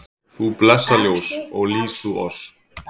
Þú blessað ljós, ó lýs þú oss